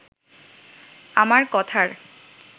আমার কথার